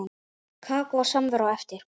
Kakó og samvera á eftir.